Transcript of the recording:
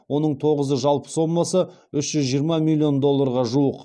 оның тоғызыы жалпы сомасы үш жүз жиырма миллион долларға жуық